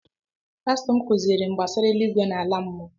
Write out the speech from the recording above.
pastọ m kụziiri m gbasara eluigwe na ala mmụọ